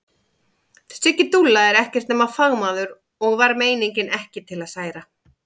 Siggi dúlla er ekkert nema fagmaður og var meiningin ekki til að særa.